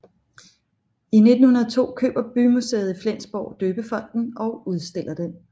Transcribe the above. I 1902 køber bymuseet i Flensborg døbefonten og udstiller den